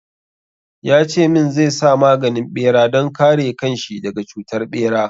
Ya ce min zai sa maganin bera don kare kan shi daga cutar ɓera.